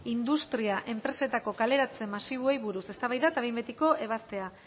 industria enpresetako kaleratze masiboei buruz eztabaida eta behin betiko ebazpena